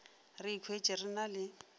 re ikhwetše re na le